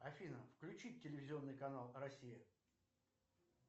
афина включить телевизионный канал россия